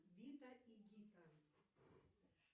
зита и гита